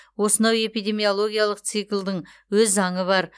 осынау эпидемиологиялық циклдың өз заңы бар